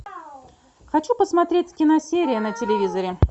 хочу посмотреть киносерия на телевизоре